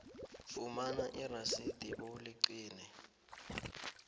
fumana irasidi bewuligcine